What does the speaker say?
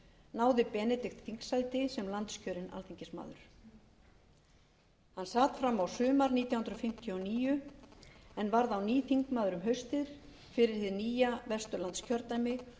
náði benedikt þingsæti sem landskjörinn alþingismaður hann sat fram á sumar nítján hundruð fimmtíu og níu en varð á ný þingmaður um haustið fyrir hið nýja vesturlandskjördæmi